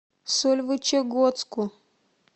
сольвычегодску